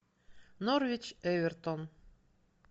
норвич эвертон